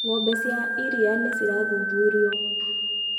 Ngombe cia iria nĩcirathuthurio.